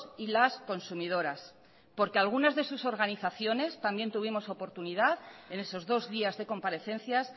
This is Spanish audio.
y las consumidoras porque algunas de sus organizaciones también tuvimos oportunidad en esos dos días de comparecencias